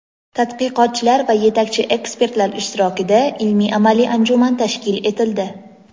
tadqiqotchilar va yetakchi ekspertlar ishtirokida ilmiy-amaliy anjuman tashkil etildi.